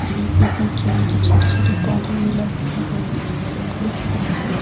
बीच-बीच में केले के छोटे छोटे पौधे भी लगाए गए है जब फूल ख़तम हो जाये तो --